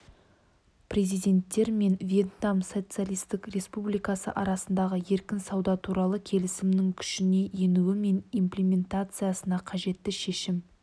президенттер мен вьетнам социалистік республикасы арасындағы еркін сауда туралы келісімнің күшіне енуі мен имплементациясына қажетті шешім